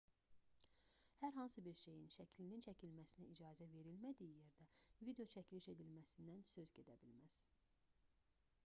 hər hansı bir şeyin şəklinin çəkilməsinə icazə verilmədiyi yerdə videoçəkiliş edilməsindən söz gedə bilməz